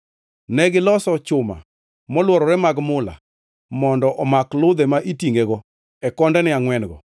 Negiloso chuma molworore mag mula mondo omak ludhe ma itingʼego e kondene angʼwen-go.